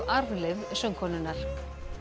arfleið söngkonunnar